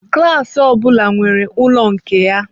Klasị ọbula nwere ụlọ nke ya.